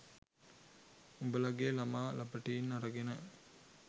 උඹලගේ ළමා ලපටින් අරගෙන